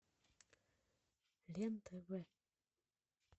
рен тв